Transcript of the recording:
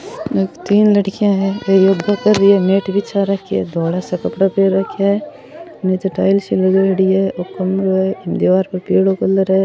तीन लड़कियां है इम दीवार पर पिलो कलर है।